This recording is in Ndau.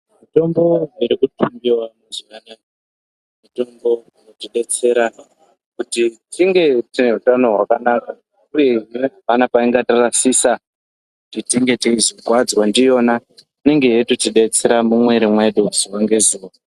Mitombo dzirikutsvagiwa mazuwa anaa, mitombo dzinotidetsera, kuti tinge tine utano hwakanaka, uye apana peingatirasisa kuti inge tizokuwadzwa ndiyona. Inenge yeitotibetsera mumwiri mwedu zuwa ngezuwa.